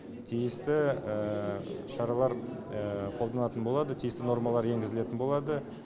тиісті шаралар қолданатын болады тиісті нормалар енгізілетін болады